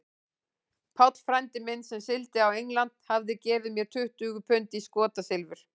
Páll frændi minn, sem sigldi á England, hafði gefið mér tuttugu pund í skotsilfur.